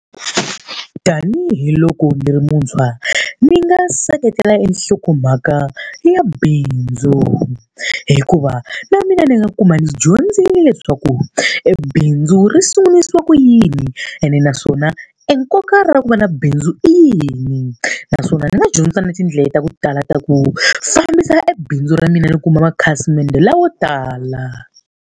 Tanihi loko ni ri muntshwa ni nga seketela enhlokomhaka ya bindzu, hikuva na mina ni nga kuma ni dyondzise leswaku ebindzu ri sungurisiwa ku yini ene naswona enkoka ra ku va na bindzu i yini. Naswona ni nga dyondza na tindlela ta ku tala ta ku fambisa ebindzu ra mina ni kuma makhasimende lawo tala.